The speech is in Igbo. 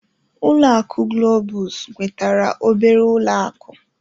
Ulọ akụ Globus nwetara obere ụlọ akụ.